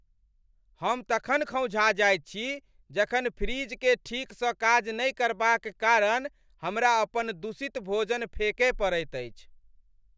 हम तखन खौंझा जाएत छी जखन फ्रिजकेँ ठीकसँ काज नहि करबाक कारण हमरा अपन दूषित भोजन फेकय पड़ैत अछि।